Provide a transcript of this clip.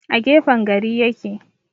A gefen gari ya ke.